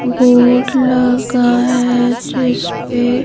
board लगा है जिस पे--